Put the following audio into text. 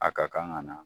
A ka kan ka na